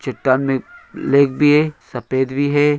चट्टान में एक लेग